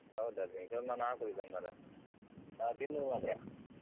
ಹೌದಾ drink ಎಲ್ಲ ನಾ ಕುಡಿಯುದಿಲ್ಲ ಮರ್ರೆ ನಾನು ತಿನ್ನುದು ಮಾತ್ರ.